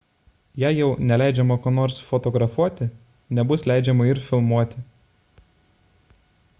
jei jau neleidžiama ko nors fotografuoti nebus leidžiama ir filmuoti